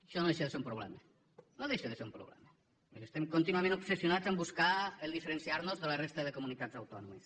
això no deixa de ser un problema no deixa de ser un problema perquè estem contínuament obsessionats a buscar el fet de diferenciarnos de la resta de comunitats autònomes